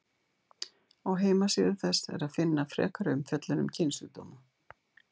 Á heimasíðu þess er að finna frekari umfjöllun um kynsjúkdóma.